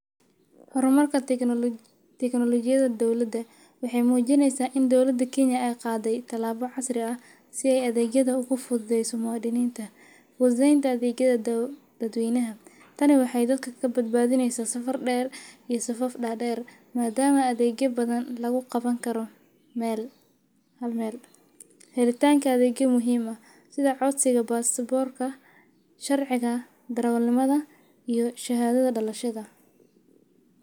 Hormarka teknolojiyada dowlada, waxay mujineysa ini dowlada Kenya ay qadey tilaba casri ah si ay adegyada ogu fududeyso muwadininta, fududeynta adegyada dadweynaha tani waxay dadka kabad badhineysa safar der iyo safaf dader madam aa adegya badhan lagu qabani karo hal mel, helitanka adegyo muhim ah sidhi, codsiga pastaporka, sharciga darawalnimada iyo shahadadha dalashada.